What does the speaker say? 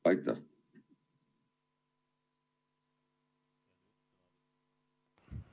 Aitäh!